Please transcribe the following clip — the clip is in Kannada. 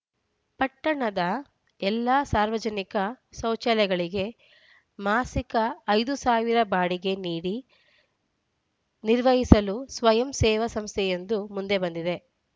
ಪಟ್ಟಣದ ಎಲ್ಲ ಸಾರ್ವಜನಿಕ ಶೌಚಾಲಯಗಳಿಗೆ ಮಾಸಿಕ ಐದು ಸಾವಿರ ಬಾಡಿಗೆ ನೀಡಿ ನಿರ್ವಹಿಸಲು ಸ್ವಯಂ ಸೇವಾ ಸಂಸ್ಥೆಯೊಂದು ಮುಂದೆ ಬಂದಿದೆ